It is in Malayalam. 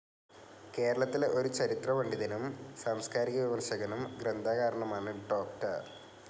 കേരളത്തിലെ ഒരു ചരിത്രപണ്ഡിതനും സാംസ്കാരിക വിമർശകനും ഗ്രന്ഥകാരനുമാണ് ഡോ.